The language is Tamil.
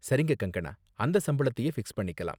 சரிங்க கங்கனா, அந்த சம்பளத்தையே ஃபிக்ஸ் பண்ணிக்கலாம்.